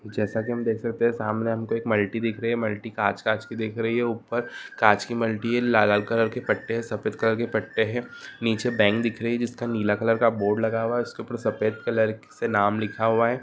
जेसा कि हम देख सकते है सामने हमको एक मल्टी दिख रही है मल्टी कांच-कांच कि दिख रही है ऊपर कांच कि मल्टी है लाल-लाल कलर के पट्ठे है सफ़ेद कलर के पट्ठे है नीचे बैंक दिख रही जिसका नीला कलर का बोर्ड लगा हुआ है सफेद कलर से नाम लिखा हुआ है।